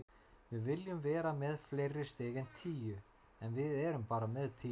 Við viljum vera með fleiri stig en tíu, en við erum bara með tíu.